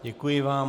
Děkuji vám.